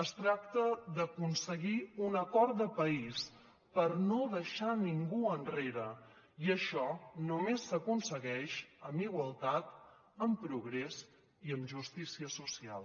es tracta d’aconseguir un acord de país per no deixar ningú enrere i això només s’aconsegueix amb igualtat amb progrés i amb justícia social